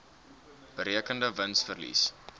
berekende wins verlies